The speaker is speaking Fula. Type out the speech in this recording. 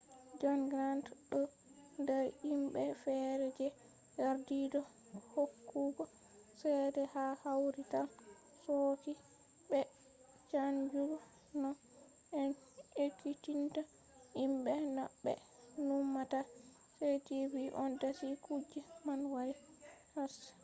jon grant ɗo nder himɓe fere je yardi do hokkugo cede ha kawrital chochi be chanjugo no en ekkitinta himɓe no ɓe numata heri tv on dasi kuje man wari karshe